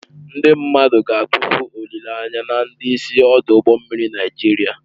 Ndị mmadụ ga-atụfu olileanya na ndị isi ọdụ ụgbọ mmiri Nigeria